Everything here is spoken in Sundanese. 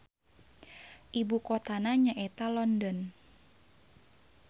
Ibu kotana nya eta London.